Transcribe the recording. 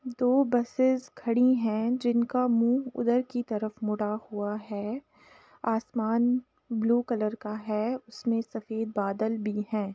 दो बसेस खड़ी है जिनका मुंह उधर की तरफ मुड़ा हुआ है आसमान ब्लू कलर का है उसमें सफ़ेद बादल भी है।